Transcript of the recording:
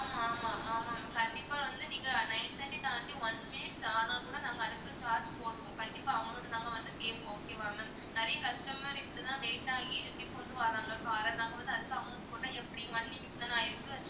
ஆமா ஆமா ஆமா ma'am கண்டிப்பா வந்து நீங்க nine thirty தாண்டி one minute ஆனால் கூட நாங்க அதுக்கு charge போடுவோம் கண்டிப்பா amount உ நாங்க வந்து கேப்போம் okay வா ma'am நிறைய customer இதுக்கு தான் late ஆகி இப்படி கொண்டு வர்றாங்க car அ நாங்க வந்து அதுக்கு amount போட்டா எப்படி one minute தானே ஆயிருக்கு